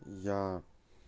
я